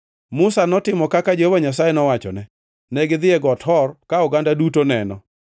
Musa notimo kaka Jehova Nyasaye nowachone: Negidhi e Got Hor ka oganda duto neno.